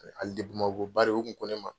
Bamako bari o kun ko ne ma